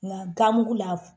Nga ganmugu la